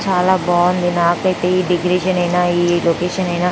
చాలా బాగుంది నాకు ఇత్య ఈ డెకొరేషన్ ఐన ఈ లొకేషన్ ఐనా--